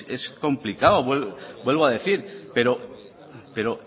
es complicado vuelvo a decir pero